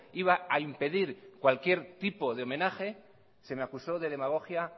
iba a impedir cualquier tipo de homenaje se me acusó de demagogia